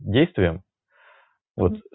действием вот